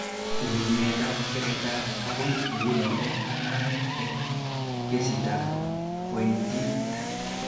Rarunetab keretab akoi nguni eng mugaret eng kesitab pointit